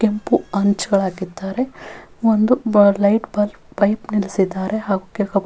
ಕೆಂಪು ಅಂಚಾಳ್ ಹಾಕಿದ್ದಾರೆ ಒಂದು ಲೈಟ್ ಬಲ್ಬ್ ಬೈಕ್ ನಿಲ್ಸಿದ್ದಾರೆ ಹಾಗು .